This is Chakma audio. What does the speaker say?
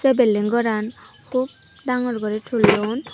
se bilding goran hup dagor guri tulon.